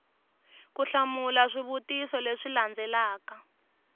ku hlamula swivutiso leswi landzelaka